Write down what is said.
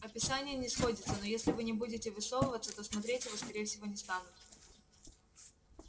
описание не сходится но если вы не будете высовываться то смотреть его скорее всего не станут